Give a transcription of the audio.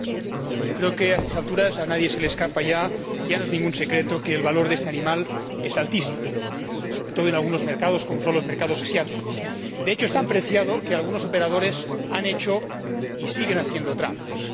Señor Presidente, yo creo que a estas alturas a nadie se le escapa ya ya no es ningún secreto que el valor de este animal es altísimo, sobre todo en algunos mercados, como son los mercados asiáticos. De hecho, es tan preciado que algunos operadores han hecho y siguen haciendo trampas.